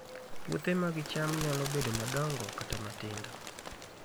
Puothe mag cham nyalo bedo madongo kata matindo